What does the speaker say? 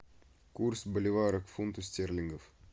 курс боливара к фунту стерлингов